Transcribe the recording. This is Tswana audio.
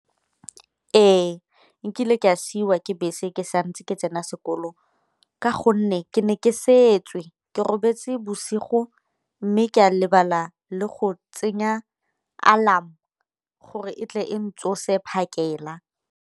Ee, nkile ke a siiwa ke bese ke santse ke tsena sekolo ka gonne ke ne ke setswe, ke robetse bosigo mme ke a lebala le go tsenya alarm gore e tle e ntsose phakela.